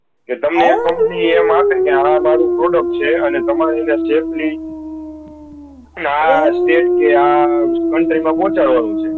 કે તમને company એમ આપે કે આ મારુ product છે અને તમારે એ ને આ ચે છે આ country મા પહુચાડવાનું છે